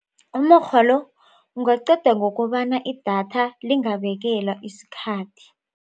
Umukghwa lo ungaqedwa ngokobana idatha lingabekelwa isikhathi.